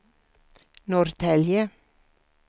Norrtälje